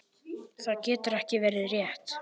Það getur ekki verið rétt.